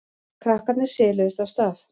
Krakkarnir siluðust af stað.